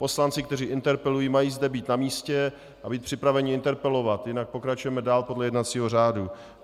Poslanci, kteří interpelují, mají zde být na místě a být připraveni interpelovat, jinak pokračujeme dál podle jednacího řádu.